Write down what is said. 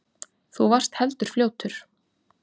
Þú varst heldur fljótur.